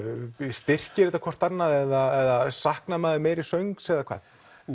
styrkir þetta hvort annað eða saknar maður meiri söngs eða hvað